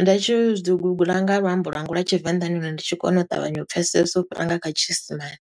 Ndi tshi dzi guguḽa nga luambo lwanga lwa Tshivenḓa ndi hone ndi tshi kona u ṱavhanya u pfesesa u fhira nga kha tshiisimane.